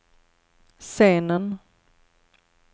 scenen